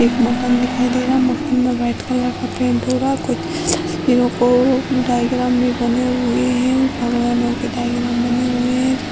एक मकान दिखाई दे रहा। मकान में व्हाइट कलर का पेंट हो रहा। कुछ को डायग्राम भी बने हुए हैं। भगवानों के डायग्राम बने हुए हैं।